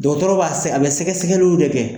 Dɔgɔtɔrɔw b'a se a bɛ sɛgɛsɛgɛliw de kɛ.